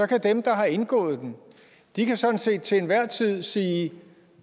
kan dem der har indgået den sådan set til enhver tid sige